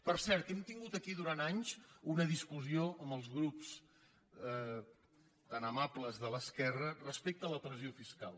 per cert hem tingut aquí durant anys una discussió amb els grups tan amables de l’esquerra respecte a la pressió fiscal